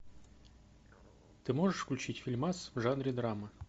ты можешь включить фильмас в жанре драма